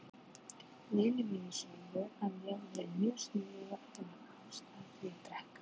Vinir mínir sögðu að ég væri mjög sniðug að finna ástæðu til að drekka.